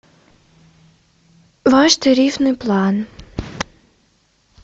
ваш тарифный план